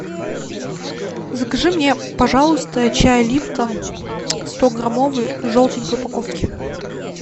закажи мне пожалуйста чай липтон стограммовый в желтенькой упаковке